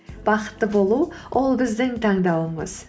бақытты болу ол біздің таңдауымыз